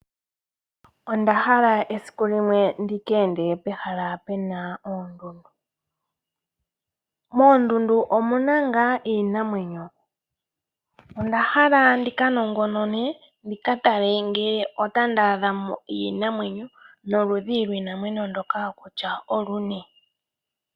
Ondahala esiku limwe ndika ende pehala pena oondundu. Moondunda omuna ngaa iinamwenyo. Ondahala ndika nongonone ndikatale ngele otandaadhamo iinamwenyo noludhi lwiinamwenyo ndoka oluni.